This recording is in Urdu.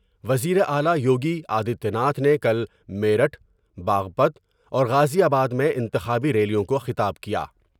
وزیر اعلی یوگی آدتیہ ناتھ نے کل میرٹھ ، باغپت اور غازی آباد میں انتخابی ریلیوں کو خطاب کیا ۔